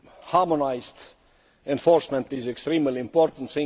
Harmonised enforcement is extremely important